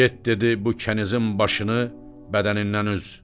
Get dedi bu kənizin başını bədənindən üz.